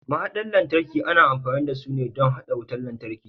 Mahaɗar lantarki ana amfani dasu ne don haɗa wutar lantarki